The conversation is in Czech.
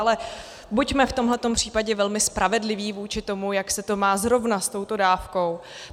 Ale buďme v tomhle případě velmi spravedliví vůči tomu, jak se to má zrovna s touto dávkou.